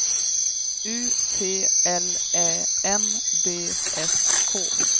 U T L Ä N D S K